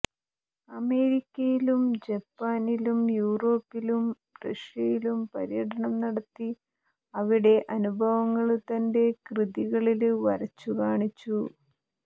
അമേരിക്കയിലും ജപ്പാനിലും യൂറോപ്പിലും റഷ്യയിലും പര്യടനം നടത്തി അവിടത്തെ അനുഭവങ്ങള് തന്റെ കൃതികളില് വരച്ചു കാണിച്ചു